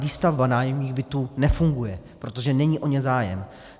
Výstavba nájemních bytů nefunguje, protože není o ně zájem.